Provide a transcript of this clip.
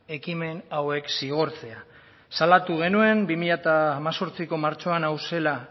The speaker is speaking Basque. ekimen hauek zigortzea salatu genuen bi mila hemezortziko martxoan hau zela